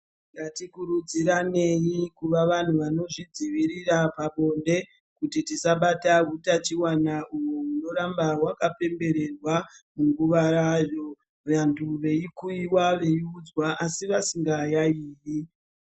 Ngatikurudziranei kuva vanhu vanozvidzivirira pabonde kuti tisabata utachiwana uhwu hunoramba hwakapembererwa munguvayo. Vantu veikuiwa veiudzwa asi vasingayaiyi.